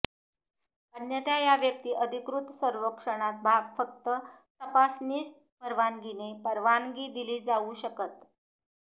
अन्यथा या व्यक्ती अधिकृत सर्वेक्षणात भाग फक्त तपासनीस परवानगीने परवानगी दिली जाऊ शकत